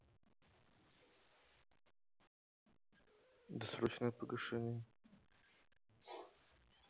досрочное погашение